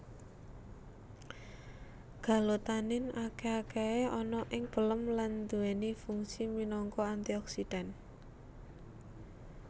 Galotanin akeh akahe ana ing pelem lan duweni fungsi minangka antioksidan